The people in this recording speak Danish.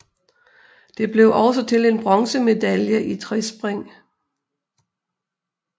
Det blev også til en bronzemedalje i trespring